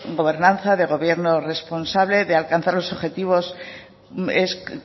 gobernanza de gobierno responsable de alcanzar los objetivos es